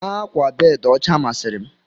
Ákwà bedi ọcha masịri m.